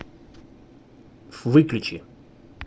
выключи